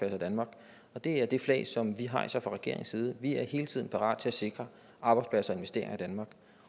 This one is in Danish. i danmark og det er det flag som vi hejser fra regeringens side vi er hele tiden parat til at sikre arbejdspladser og investeringer i danmark